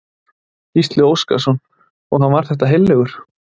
Gísli Óskarsson: Og hann var þetta heillegur?